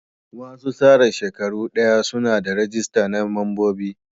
Wasu tsara shekaru daya suna da ragista na mambobi.